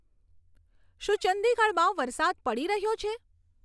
શું ચંદીગઢમાં વરસાદ પડી રહ્યો છે